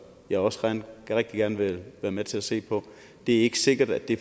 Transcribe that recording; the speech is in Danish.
jeg også rigtig gerne vil være med til at se på det er ikke sikkert at det